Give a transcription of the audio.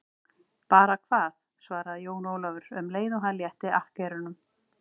Bara hvað, svaraði Jón Ólafur um leið og hann létti akkerunum.